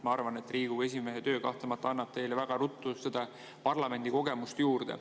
Ma arvan, et Riigikogu esimehe töö kahtlemata annab teile väga ruttu seda parlamendikogemust juurde.